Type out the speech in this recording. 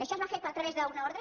això es va fer a través d’una ordre